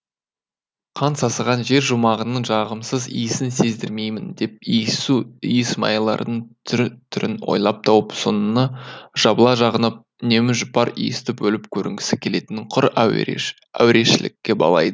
қан сасыған жер жұмағының жағымсыз иісін сездірмеймін деп иіссу иісмайлардың түр түрін ойлап тауып соны жабыла жағынып үнемі жұпар иісті болып көрінгісі келетінін құр әурешілікке балайды